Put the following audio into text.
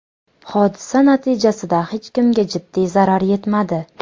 Hodisa natijasida hech kimga jiddiy zarar yetmadi.